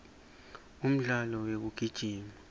umdlalo wekugijima